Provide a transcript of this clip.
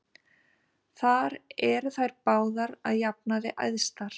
Þar eru þær báðar að jafnaði æðstar.